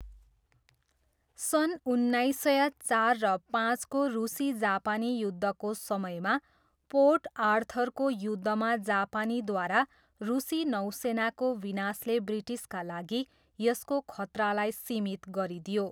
सन् उन्नाइस सय चार र पाँचको रुसी जापानी युद्धको समयमा पोर्ट आर्थरको युद्धमा जापानीद्वारा रुसी नौसेनाको विनाशले ब्रिटिसका लागि यसको खतरालाई सीमित गरिदियो।